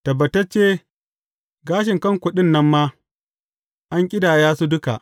Tabbatacce, gashin kanku ɗin nan ma, an ƙidaya su duka.